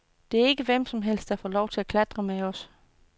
Det er ikke hvem som helst, der får lov at klatre med os.